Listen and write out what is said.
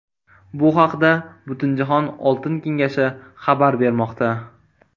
Bu haqda Butunjahon oltin kengashi xabar bermoqda .